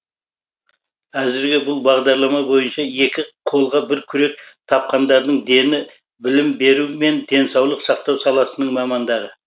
әзірге бұл бағдарлама бойынша екі қолға бір күрек тапқандардың дені білім беру мен денсаулық сақтау саласының мамандары